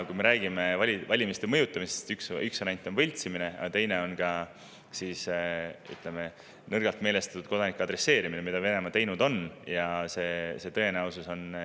Kui me räägime valimiste mõjutamisest, siis üks variant on võltsimine ja teine on, ütleme, nõrgalt meelestatud kodanike adresseerimine, mida Venemaa teinud on.